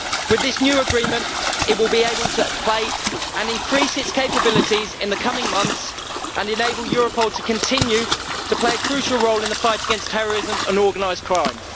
With this new agreement, it will be able to increase its capabilities in the coming months and enable Europol to continue to play a crucial role in the fight against terrorism and organised crime.